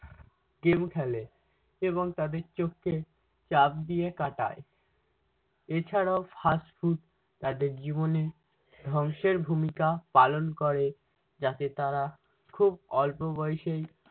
game খেলে এবং তাদের চোখকে চাপ দিয়ে কাটায়। এছাড়াও fast food তাদের জীবনে ধ্বংসের ভূমিকা পালন করে যাতে তারা খুব অল্প বয়সেই